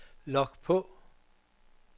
log på